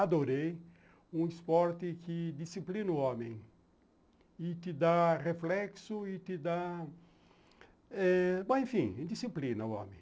Adorei um esporte que disciplina o homem e te dá reflexo e te dá eh... enfim, disciplina o homem.